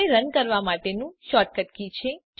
કોડને રન કરવાં માટેનું શૉર્ટકટ છે